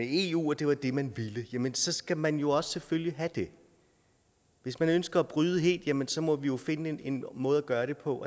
eu det var det man ville jamen så skal man jo også selvfølgelig have det hvis man ønsker at bryde helt jamen så må vi jo finde en måde at gøre det på